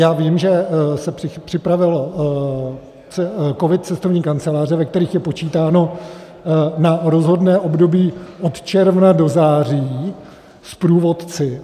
Já vím, že se připravil COVID - Cestovní kanceláře, ve kterých je počítáno na rozhodné období od června do září s průvodci.